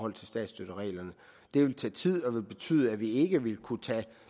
af statsstøttereglerne det ville tage tid og ville betyde at vi ikke ville kunne tage